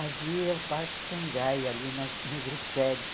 Havia o Parque Shangai ali na no Grissério.